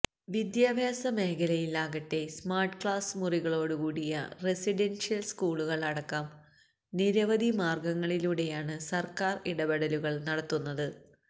വിദ്യാഭ്യാസ മേഖലയിൽ ആകട്ടെ സ്മാർട്ട് ക്ലാസ്സ് മുറികളോടു കൂടിയ റെസിഡൻഷ്യൽ സ്കൂളുകൾ അടക്കം നിരവധി മാർഗ്ഗങ്ങളിലൂടെയാണ് സർക്കാർ ഇടപെടലുകൾ നടത്തുന്നത്